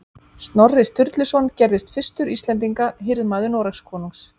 Snorri Sturluson gerðist fyrstur Íslendinga hirðmaður Noregskonungs